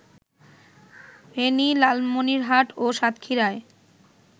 ফেনী, লালমনিরহাট ও সাতক্ষীরায়